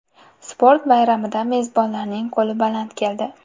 Sport bayramida mezbonlarning qo‘li baland keldi.